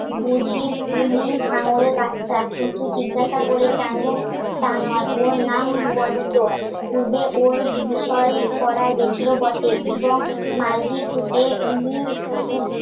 উনি হাঁঙড়ের বাচ্চা কিন্তু জিজ্ঞাসা করে তা নয় ওর নাম বনিতো. পূর্বে ওর বিষয় করা গেছিল বটে. এবং মাল্টি ফুটে উনি পুটকি রূপে